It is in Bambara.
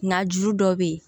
Na juru dɔ bɛ ye